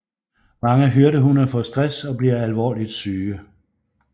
Mange hyrdehunde får stress og bliver alvorligt syge